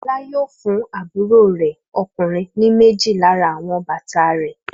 Fọlá yóò fún àbúrò rẹ̀ ọkùnrin ní méjì lára àwọn bàtà rẹ̀.